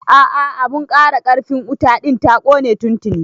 A'a abun ƙara ƙarfin wuta ɗin ta kone tuntini